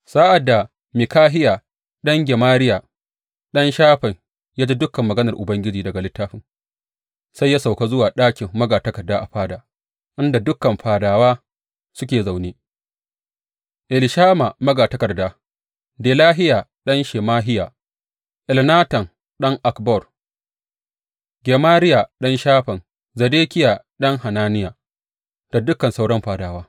Sa’ad da Mikahiya ɗan Gemariya, ɗan Shafan, ya ji dukan maganar Ubangiji daga littafin, sai ya sauka zuwa ɗakin magatakarda a fada, inda dukan fadawa suke zaune, Elishama magatakarda, Delahiya ɗan Shemahiya, Elnatan ɗan Akbor, Gemariya ɗan Shafan, Zedekiya ɗan Hananiya, da dukan sauran fadawa.